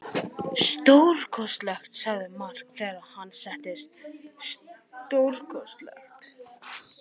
Stórkostlegt, sagði Mark þegar hann settist, stórkostlegt.